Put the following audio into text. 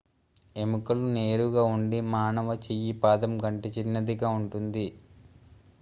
ఎముకలు నేరుగా ఉండి మానవ చెయ్యి పాదం కంటే చిన్నదిగా ఉంటుంది